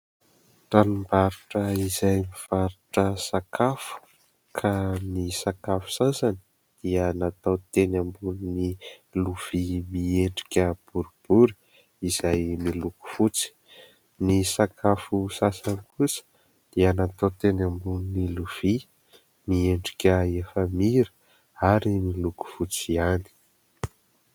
Tranombarotra izay mivarotra sakafo ka ny sakafo sasany dia natao teny ambonin'ny lovia miendrika borobory izay miloko fotsy, ny sakafo sasany kosa dia natao teny ambonin'ny lovia miendrika efamira ary miloko fotsy ihany.